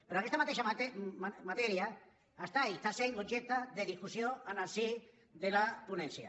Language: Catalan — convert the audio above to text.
però aquesta mateixa matèria és i està sent objecte de discussió en el si de la ponència